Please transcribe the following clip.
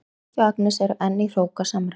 Helgi og Agnes eru enn í hrókasamræðum.